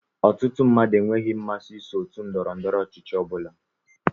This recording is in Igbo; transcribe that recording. Ọtụtụ mmadụ enweghị mmasị iso otú ndọrọ ndọrọ ọchịchị ọbula